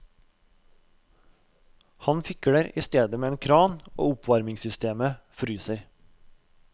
Han fikler i stedet med en kran og oppvarmingssystemet fryser.